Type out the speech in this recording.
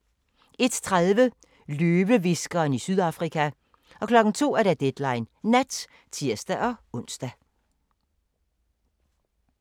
01:30: Løvehviskeren i Sydafrika 02:00: Deadline Nat (tir-ons)